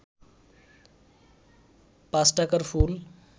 ৫ টাকার ফুল